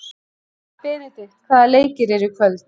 Benidikt, hvaða leikir eru í kvöld?